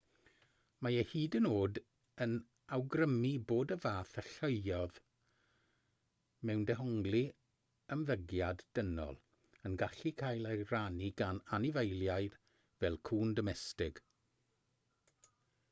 mae e hyd yn oed yn awgrymu bod y fath alluoedd mewn dehongli ymddygiad dynol yn gallu cael ei rannu gan anifeiliaid fel cŵn domestig